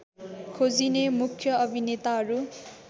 खोजिने मुख्य अभिनेताहरू